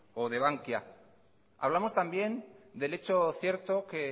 o de bankia hablamos también del hecho cierto que